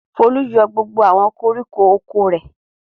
Folú yọ gbogbo àwọn koríko oko rẹ̀.